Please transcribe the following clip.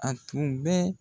A tun bɛ